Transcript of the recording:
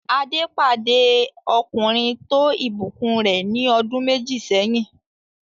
Adé pàdé ọkùnrin tó ìbùkún rẹ̀ ní ọdún méjì sẹ́yìn.